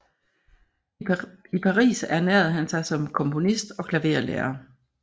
I Paris ernærede han sig som komponist og klaverlærer